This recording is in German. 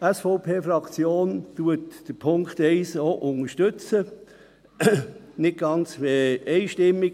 Die SVP-Fraktion unterstützt den Punkt 1 auch mehrheitlich, nicht ganz einstimmig.